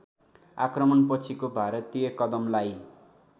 आक्रमणपछिको भारतीय कदमलाई